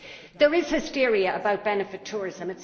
There is hysteria about benefit tourism.